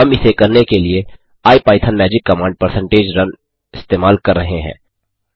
हम इसे करने के लिए IPython magic command percentage run इस्तेमाल कर रहे हैं